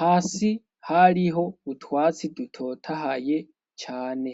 hasi hariho utwatsi ntotahaye cane.